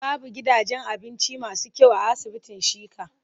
Babu gidajen abinci masu kyau a asibitin Shika.